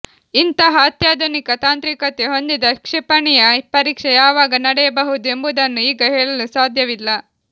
ಇಂತಹ ಅತ್ಯಾಧುನಿಕ ತಾಂತ್ರಿಕತೆ ಹೊಂದಿದ ಕ್ಷಿಪಣಿಯ ಪರೀಕ್ಷೆ ಯಾವಾಗ ನಡೆಯ ಬಹುದು ಎಂಬುದನ್ನು ಈಗ ಹೇಳಲು ಸಾಧ್ಯವಿಲ್ಲ